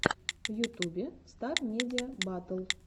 в ютубе стар медиа батл